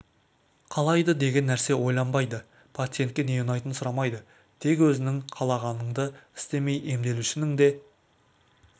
қалайды деген нәрсеге ойланбайды пациентке не ұнайтынын сұрамайды тек өзіңнің ғана қалағаныңды істемей емделушінің де